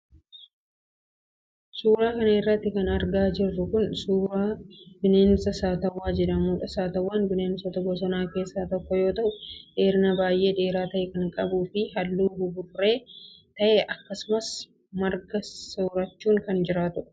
Suura kana irratti kan argaa jirru kun, suura bineensa Saatawwaa jedhamuudha. Saatawwaan bineensota bosonaa keessaa tokko yoo ta'u, dheerina baay'ee dheeraa ta'e kan qabuu fi haalluu buburree ta'e akkasumas marga soorachuun kan jiraatudha.